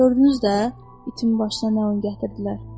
Gördünüz də, itimin başına nə oyun gətirdilər.